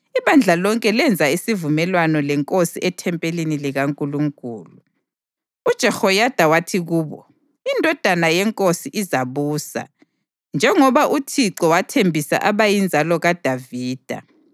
ibandla lonke lenza isivumelwano lenkosi ethempelini likaNkulunkulu. UJehoyada wathi kubo, “Indodana yenkosi izabusa, njengoba uThixo wathembisa abayinzalo kaDavida.